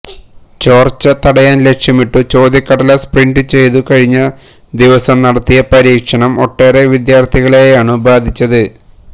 ചോർച്ച തടയാൻ ലക്ഷ്യമിട്ടു ചോദ്യക്കടലാസ് പ്രിന്റ് ചെയ്തു കഴിഞ്ഞ ദിവസം നടത്തിയ പരീക്ഷണം ഒട്ടേറെ വിദ്യാർഥികളെയാണു ബാധിച്ചത്